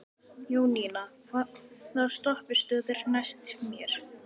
Jóninna, hvaða stoppistöð er næst mér?